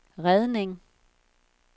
redning